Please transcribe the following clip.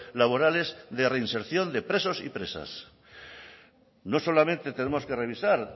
laborales de reinserción de presos y presas no solamente tenemos que revisar